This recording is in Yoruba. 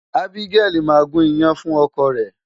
Abigail máa gún iyán fún ọkọ rẹ̀.